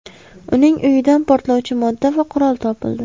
Uning uyidan portlovchi modda va qurol topildi.